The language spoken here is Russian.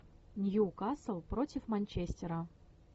ньюкасл против манчестера